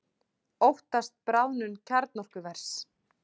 Óttast bráðnun kjarnorkuvers